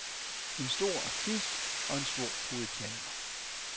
En stor artist, og en stor puritaner.